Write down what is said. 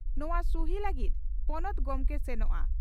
ᱱᱚᱣᱟ 'ᱥᱩᱦᱤ' ᱞᱟᱹᱜᱤᱫ ᱯᱚᱱᱚᱛ ᱜᱚᱢᱠᱮ ᱥᱮᱱᱚᱜᱼᱟ ᱾